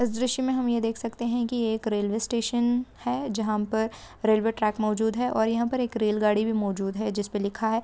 इस दृश्य मैं हम ये देख सकते है | की एक रेलवे स्टेशन है | जहाँ पर रेलवे ट्रैक मोजूद है और यहाँ पर एक रेलगाड़ी भी मौजूद है जिस पे लिखा है।